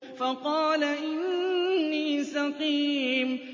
فَقَالَ إِنِّي سَقِيمٌ